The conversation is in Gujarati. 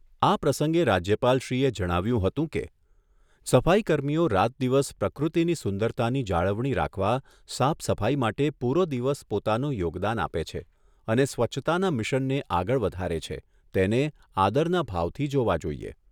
આ પ્રસંગે રાજ્યપાલશ્રીએ જણાવ્યુંં હતું કે, સફાઈ કર્મીઓ રાત દિવસ પ્રકૃતિની સુંદરતાની જાળવણી રાખવા સાફ સફાઈ માટે પુરો દિવસ પોતાનું યોગદાન આપે છે અને સ્વચ્છતાના મિશનને આગળ વઘારે છે, તેને આદરના ભાવથી જોવા જોઈએ.